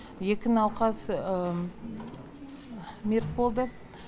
екі науқас мерт болды